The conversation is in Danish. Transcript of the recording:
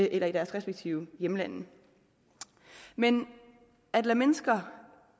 eller i deres respektive hjemlande men at lade mennesker